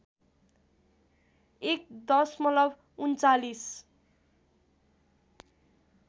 १ दशमलव ३९